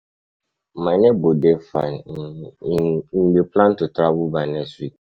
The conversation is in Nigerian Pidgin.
my neighbor dey fine, e um dey plan to travel by next week. um